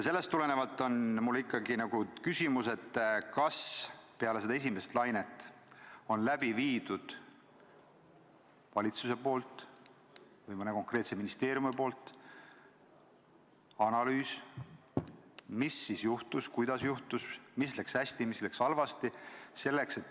Sellest tulenevalt on mul ikkagi küsimus: kas peale seda esimest lainet on valitsusel või mõnel konkreetsel ministeeriumil läbi viidud analüüs, mis siis juhtus, kuidas juhtus, mis läks hästi, mis läks halvasti?